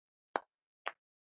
Mikið sakna ég þín.